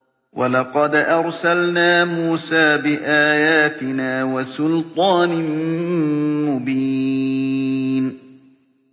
وَلَقَدْ أَرْسَلْنَا مُوسَىٰ بِآيَاتِنَا وَسُلْطَانٍ مُّبِينٍ